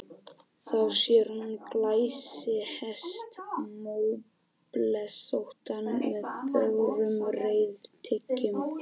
Þá sér hún glæsihest, móblesóttan með fögrum reiðtygjum.